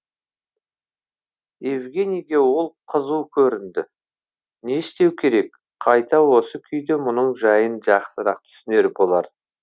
евгенийге ол қызу көрінді не істеу керек қайта осы күйде мұның жайын жақсырақ түсінер болар